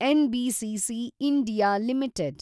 NBCC (India) limited